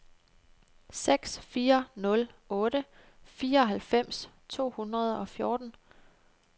seks fire nul otte fireoghalvfems to hundrede og fjorten